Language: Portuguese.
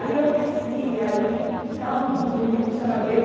Aí eu desci, aí... Aquela muvuca, ninguém deixava ver.